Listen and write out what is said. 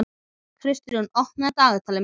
Kristrún, opnaðu dagatalið mitt.